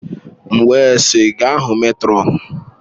M wee sị, gaa hụ mètrọn!